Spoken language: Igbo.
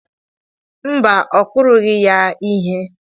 Mba, ọ kụrụghị ya ihe